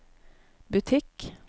butikk